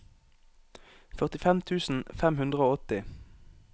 førtifem tusen fem hundre og åtti